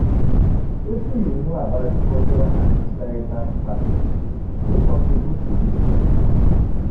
Wetin you know about di cultural and societal factors wey contribute to dis phenomenon?